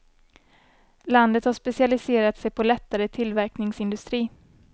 Landet har specialiserat sig på lättare tillverkningsindustri.